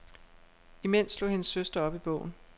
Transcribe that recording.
Imens slog hendes søster op i bogen.